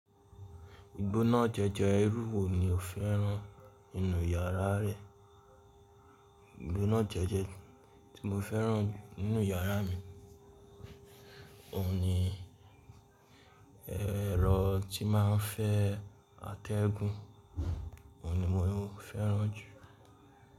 Igbó náà jẹ́jẹ́ ẹrú wo ni ò fẹ́ràn nínú yàrá rẹ̀? Igbó náà jẹ́jẹ́ tí mo fẹ́ràn nínú yàrá mi, òun ni ẹrọ tí máa ń fẹ́ atẹ́gùn, òun ni mò ń fẹ́ràn jù.